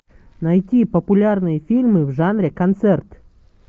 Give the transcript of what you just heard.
найти популярные фильмы в жанре концерт